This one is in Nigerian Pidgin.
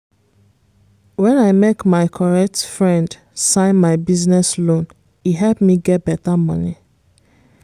when i make my correct friend sign my business loan e help me get better money.